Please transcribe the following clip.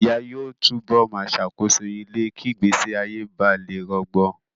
Ìyá yóò tú bọ̀ máa ṣàkóso ilé kí ìgbésí ayé ba lè rọgbọ.